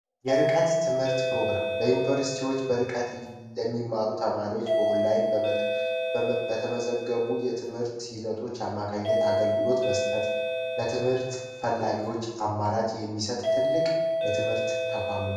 የርቀት ትምህርት ፕሮግራም በዩኒቨርስቲዎች በርቀት ለሚማሩ ተማሪዎች በኦላይን በተመዘገቡ የትምህርት ሂደቶች አማካኝነት አገልግሎት መስጠት። ለትምህርት ለፈላጊዎች አማራጭ የሚሰጥ ትልቅ ተቋም ነው።